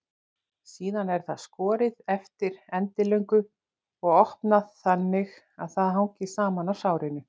Síðan er það skorið eftir endilöngu og opnað þannig að það hangir saman á sárinu.